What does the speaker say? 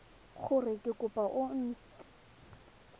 gore ke kopo e nt